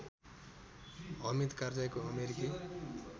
हमिद कारजाईको अमेरिकी